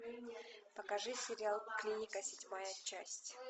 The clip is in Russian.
покажи сериал клиника седьмая часть